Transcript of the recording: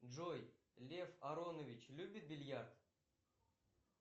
джой лев аронович любит бильярд